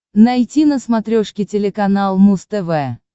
найти на смотрешке телеканал муз тв